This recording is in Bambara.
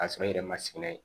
K'a sɔrɔ i yɛrɛ ma sigi n'a ye